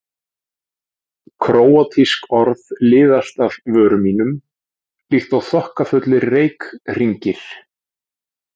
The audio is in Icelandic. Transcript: Króatísk orð liðast af vörum mínum líkt og þokkafullir reykhringir.